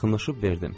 Yaxınlaşıb verdim.